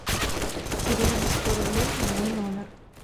переведи сто рублей на мой номер